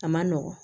A man nɔgɔn